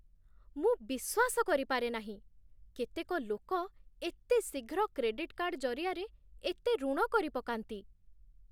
ମୁଁ ବିଶ୍ୱାସ କରିପାରେ ନାହିଁ, କେତେକ ଲୋକ ଏତେ ଶୀଘ୍ର କ୍ରେଡିଟ୍ କାର୍ଡ ଜରିଆରେ ଏତେ ଋଣ କରିପକାନ୍ତି!